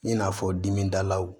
I n'a fɔ dimi dalaw